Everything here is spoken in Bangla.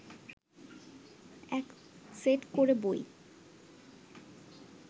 এক সেট করে বই